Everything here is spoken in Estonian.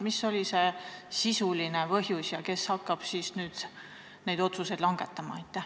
Mis oli see sisuline põhjus ja kes hakkab nüüd neid otsuseid langetama?